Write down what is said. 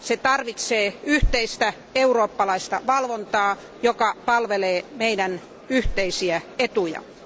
Se tarvitsee yhteistä eurooppalaista valvontaa, joka palvelee yhteisiä etujamme.